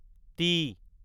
T